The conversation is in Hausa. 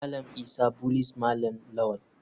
Malam isa bullies malam lawal.